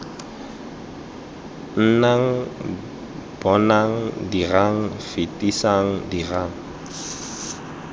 nnang bonang dirang fetisang dirang